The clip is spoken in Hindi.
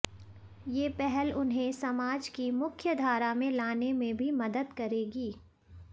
ये पहल उन्हें समाज की मुख्यधारा में लाने में भी मदद करेगी